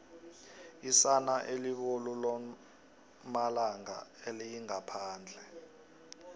isana elibolu lomalanga aliyingaphandle